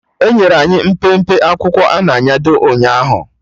Enyere anyị mpempe akwụkwọ a na-anyado ụnyaahụ